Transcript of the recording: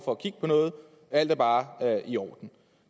for at kigge på noget alt er bare i orden